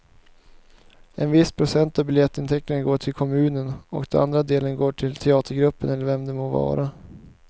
En viss procent av biljettintäkterna går till kommunen och den andra delen går till teatergruppen eller vem det må vara.